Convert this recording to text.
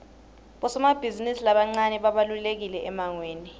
bosomabhizimisi labancane babalulekile emangweni